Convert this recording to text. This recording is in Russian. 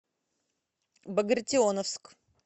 багратионовск